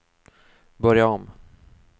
börja om